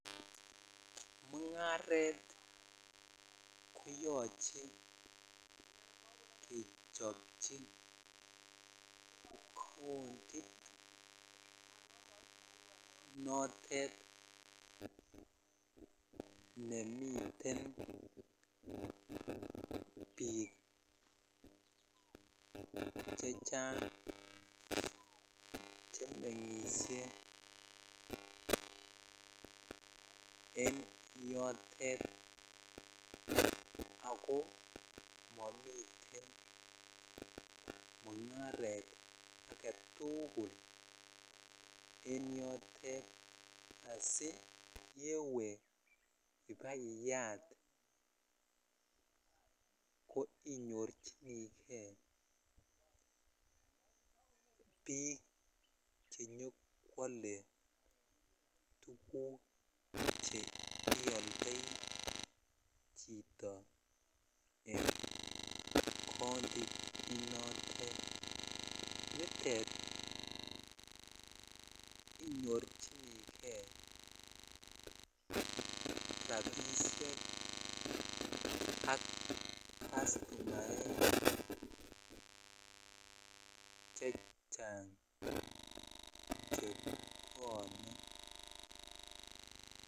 Mungaret koyoche kechopchi countit notet nemiten biik chechang' chemengishe en yotet ako momiten mungaret agetukul enyotet asiyewe ak iyat ko inyorchinkei biik chenyokwole tuguk che ioldoi chito en kot neiyote nitet inyorchinikei rabishek sk castunaek chechang' chebwone.